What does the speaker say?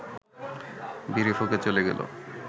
বিড়ি ফুঁকে চ’লে গেলো